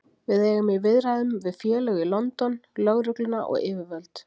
Við eigum í viðræðum við félög í London, lögregluna og yfirvöld.